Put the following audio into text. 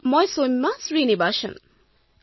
সৌম্যাঃ মই সৌম্যা শ্ৰীনিবাসন